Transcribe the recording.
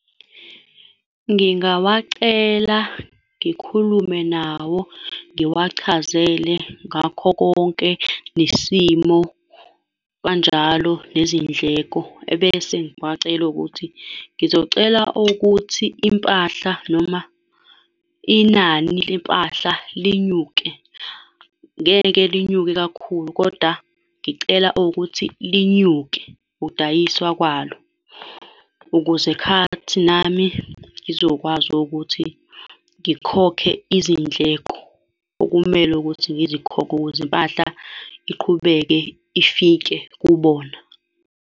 Ngingawacela, ngikhulume nawo, ngiwachazele ngakho konke, nesimo kanjalo nezindleko, ebese ngiwacela owukuthi, ngizocela ukuthi impahla noma inani lempahla linyuke. Ngeke linyuke kakhulu, koda ngicela owukuthi linyuke ukudayiswa kwalo, ukuze khathi nami ngizokwazi owukuthi ngikhokhe izindleko okumele ukuthi ngizikhokhe ukuze impahla iqhubeke ifike kubona.